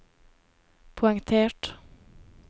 poengtert